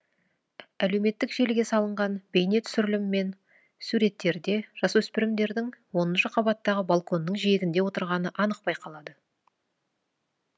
әлеуметтік желіге салынған бейнетүсірілім мен суреттерде жасөспірімдердің оныншы қабаттағы балконның жиегінде отырғаны анық байқалады